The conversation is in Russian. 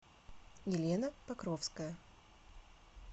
елена покровская